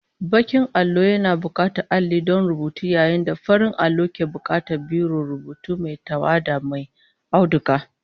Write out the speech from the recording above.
Bakin allo yana bukatar alli don rubutu yayin da farin allo ke bukatar biron rubutu mai tawada mai auduga